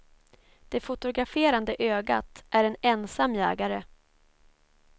Det fotograferande ögat är en ensam jägare.